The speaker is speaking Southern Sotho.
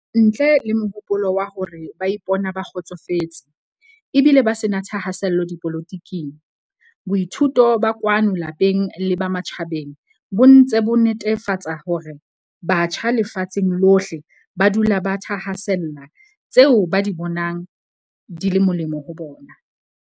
Ntle le mohopolo wa hore ba ipona ba kgotsofetse, e bile ba se na thahasello dipolotiking, boithuto ba kwano lapeng le ba matjhabeng bo ntse bo netefa tsa hore batjha lefatsheng lohle ba dula ba thahasella tseo ba di bonang di le molemo ho bona.